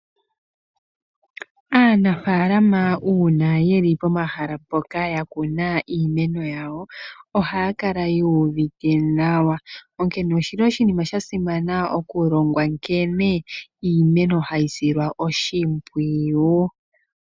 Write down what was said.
Aanafaalama uuna yeli pomahala mpoka yakuna iimeno yawo ohaya kala yuuvite nawa, onkene oshili oshinima sha simana okulongwa nkene iimeno hayi silwa oshimpwiyu.